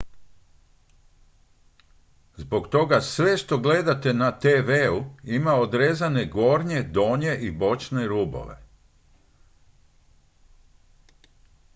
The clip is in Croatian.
zbog toga sve što gledate na tv-u ima odrezane gornje donje i bočne rubove